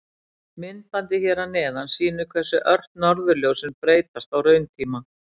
Myndbandið hér að neðan sýnir hversu ört norðurljósin breytast á rauntíma.